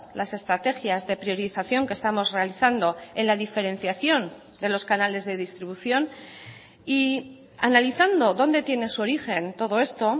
las estrategias de priorización que estamos realizando en la diferenciación de los canales de distribución y analizando dónde tiene su origen todo esto